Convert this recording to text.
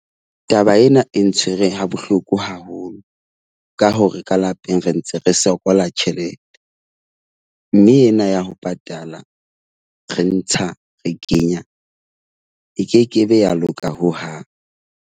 Taba ena e ntshwere ha bohloko haholo ka hore ka lapeng re ntse re sokola tjhelete. Mme ena ya ho patala re ntsha, re kenya e kekebe ya loka hohang.